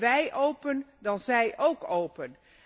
Wij open, dan zij ook open.